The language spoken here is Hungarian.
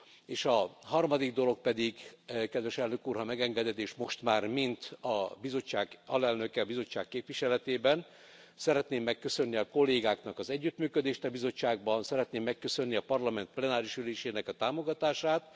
És a harmadik dolog pedig, kedves Elnök Úr, ha megengeded és most már mint a bizottság alelnöke, a bizottság képviseletében szeretném megköszönni a kollégáknak az együttműködést a bizottságban, szeretném megköszönni a Parlament plenáris ülésének a támogatását!